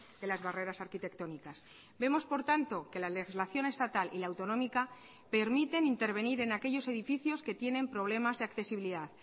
de las barreras arquitectónicas vemos por tanto que la legislación estatal y la autonómica permiten intervenir en aquellos edificios que tienen problemas de accesibilidad